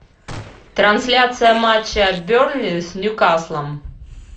трансляция матча бернли с ньюкаслом